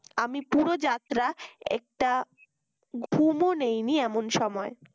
আমি পুরো যাত্রা একটা ঘুমও নেইনি এমন সময়